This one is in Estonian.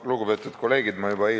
Lugupeetud kolleegid!